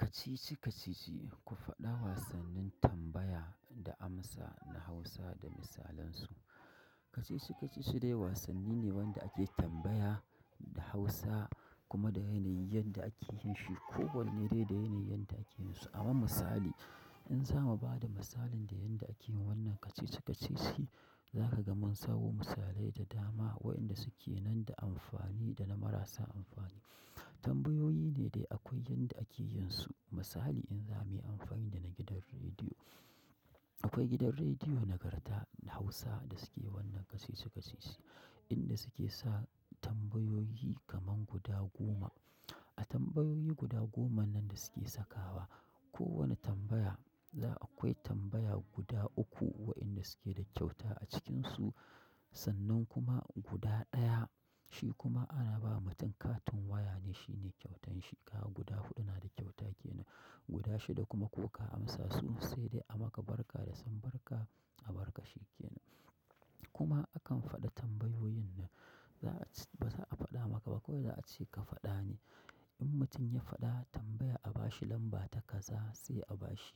Kacici-kacici, ku faɗa wasannin tambaya da amsa na Hausa da misalansu. Kacici-kacici dai wasanni ne wanda ake tambaya da Hausa kuma da yanayin da ake yin shi kowanne dai da yanayin da ake yin su. A ma misali, in za mu ba da misalin da yadda ake yin wannan kacici-kacici, za ka ga mun sawo misalai da dama waɗanda suke nan da amfani da na marasa amfani. Tambayoyi ne dai akwai yanda ake yin su. Misali in za mu yi amfani da na gidan rediyo. Akwai gidan rediyo na karta na Hausa da suke wannan kacici-kacici, inda suke sa tambayoyi kaman guda goma. A tambayoyi guda goma nan da suke sakawa, kowane tambaya, za akwai tambaya guda uku waɗanda suke da kyauta a cikinsu, sannan kuma guda ɗaya shi kuma ana ba mutum katin waya ne shine kyautar shi. Ka ga guda huɗu na da kyauta ke nan, guda shida kuma ko ka amsa su sai dai a maka barka da sambarka a barka shi ke nan. Kuma akan faɗa tambayoyin nan, ba za a faɗa maka ba, kawai za a ce ka faɗa ne. In mutum ya faɗa tambaya a ba shi lamba ta kaza sai a ba shi.